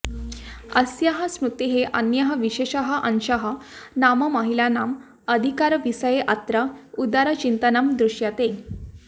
अस्याः स्मृतेः अन्यः विशेषः अंशः नाम महिलानाम् अधिकारविषये अत्र उदारचिन्तनं दृश्यते